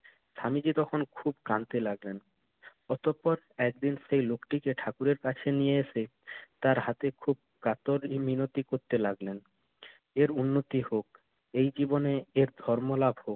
স্বামীজি তখন খুব কাঁদতে লাগলেন, অতঃপর একদিন সেই লোকটিকে ঠাকুরের কাছে নিয়ে এসে তার হাতে খুব কাতর মিনতি করতে লাগলেন। এর উন্নতি হোক, এই জীবনে এর ধর্ম লাভ হোক।